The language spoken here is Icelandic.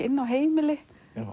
inni á heimili